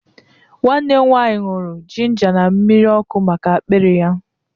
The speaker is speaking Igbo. Nwanne m nwaanyị ñụrụ jinja na mmiri ọkụ maka akpịrị ya.